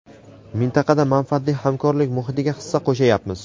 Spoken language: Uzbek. mintaqada manfaatli hamkorlik muhitiga hissa qo‘shayapmiz;.